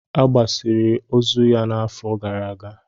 A gbasiri ozu ya n'afọ gara aga.